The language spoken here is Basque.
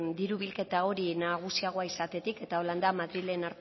diru bilketa hori nagusiagoa izatetik eta horrela da madrilen